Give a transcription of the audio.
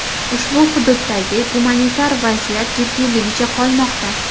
Ushbu hududdagi gumanitar vaziyat jiddiyligicha qolmoqda.